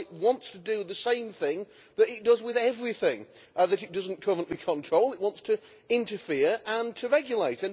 Well it wants to do the same thing that it does with everything that it does not currently control it wants to interfere and to regulate.